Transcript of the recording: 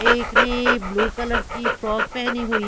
एक ने blue colour की फ्रॉक पहनी हुई--